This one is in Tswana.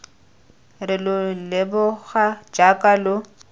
re lo leboga jaaka lo